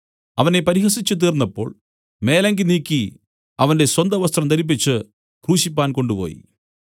അവനെ പരിഹസിച്ചുതീർന്നപ്പോൾ മേലങ്കി നീക്കി അവന്റെ സ്വന്തവസ്ത്രം ധരിപ്പിച്ച് ക്രൂശിപ്പാൻ കൊണ്ടുപോയി